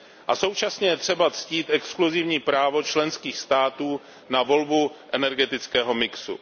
A současně je třeba ctít exkluzivní právo členských států na volbu energetického mixu.